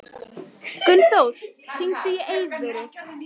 Gunnþór, hringdu í Eiðvöru.